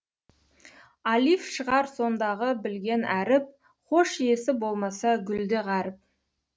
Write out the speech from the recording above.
алиф шығар сондағы білген әріп хош иісі болмаса гүл де ғаріп